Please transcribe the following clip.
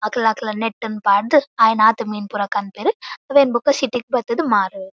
ಅಕಲಕಲ್ನ net ನ್ ಪಾರ್ದ್ ಆಯಿನಾತ್ ಮೀನ್ ಪುರ ಕನ್ಪೆರ್ ಅವೆನ್ ಬೊಕ ಸಿಟಿ ಗ್ ಬತ್ ಮಾರುವೆರ್.